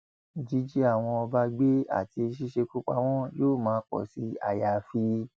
jíjí àwọn ọba gbé àti ṣíṣekú pa wọn yóò máa pọ sí àyàfi